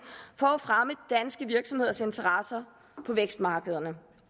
for at fremme danske virksomheders interesser på vækstmarkederne